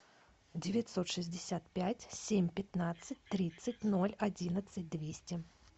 девятьсот шестьдесят пять семь пятнадцать тридцать ноль одиннадцать двести